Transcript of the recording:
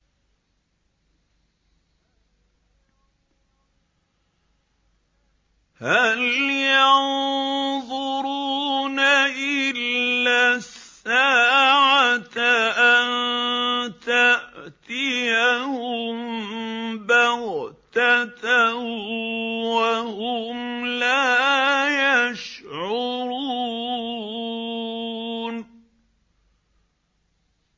هَلْ يَنظُرُونَ إِلَّا السَّاعَةَ أَن تَأْتِيَهُم بَغْتَةً وَهُمْ لَا يَشْعُرُونَ